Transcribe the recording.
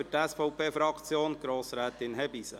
Für die SVP-Fraktion: Grossrätin Hebeisen.